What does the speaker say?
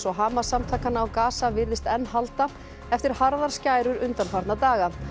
og Hamas samtakanna á virðist enn halda eftir harðar skærur undanfarna daga